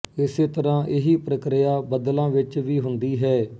ਇਸੇ ਤਰ੍ਹਾਂ ਇਹੀ ਪ੍ਰਕਿਰਿਆ ਬੱਦਲਾਂ ਵਿੱਚ ਵੀ ਹੁੰਦੀ ਹੈ